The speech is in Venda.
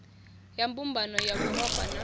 ya mbumbano ya yuropa na